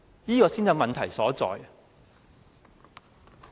這才是問題所在。